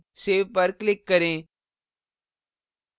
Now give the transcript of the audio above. save पर click करें